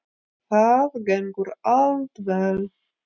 Það gengur allt vel